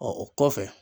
Ɔ o kɔfɛ